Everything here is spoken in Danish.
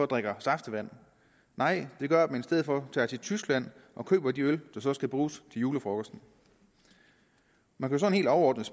drikker saftevand nej det gør at man i stedet for tager til tyskland og køber de øl der så skal bruges til julefrokosten man kan sådan helt overordnet